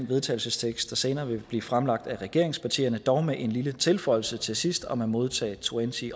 vedtagelse som senere vil blive fremsat af regeringspartierne men dog med en lille tilføjelse til sidst om at modtage twenty